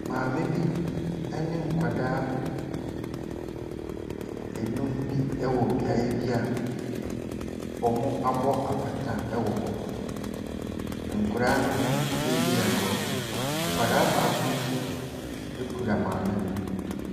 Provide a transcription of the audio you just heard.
Maame bi ne nkwadaa num bi wɔ beaeɛ bi a wɔabɔ apata wɔ hɔ. Nkwaraa no bi redi agorɔ. Akwaraa baako nso kura maame no.